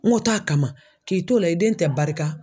N ko taa kama k'i t'o la i den tɛ barika